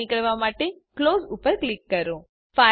બહાર નીકળવા માટે ક્લોઝ ઉપર ક્લિક કરો